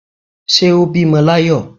Ṣé ó bímọ l'ayọ